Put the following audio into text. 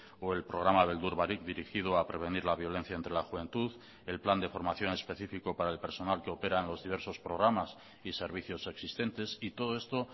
o el programa beldur barik dirigido a prevenir la violencia entre la juventud el plan de formación específico para el personal que operan los diversos programas y servicios existentes y todo esto